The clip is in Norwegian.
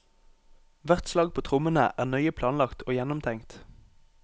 Hvert slag på trommene er nøye planlagt og gjennomtenkt.